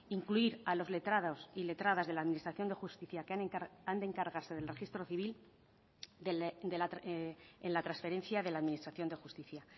incluir a los letrados y letradas de la administración de justicia que han de encargarse del registro civil en la transferencia de la administración de justicia